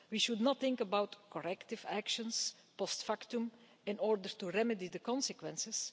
We should not think about corrective actions post factum in order to remedy the consequences.